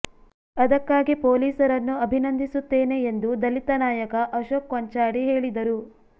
ಅದಕ್ಕಾಗಿ ಪೊಲೀಸರನ್ನು ಅಭಿನಂದಿಸುತ್ತೇನೆ ಎಂದು ದಲಿತ ನಾಯಕ ಅಶೋಕ್ ಕೊಂಚಾಡಿ ಹೇಳಿದರು